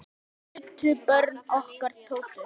Þess nutu börnin okkar Tótu.